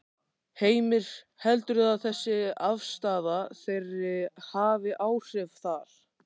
Heimir: Heldurðu að þessi afstaða þeirri hafi áhrif þar?